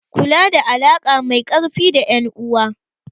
Kula da alaƙa mai ƙarfi da ƴan uwa.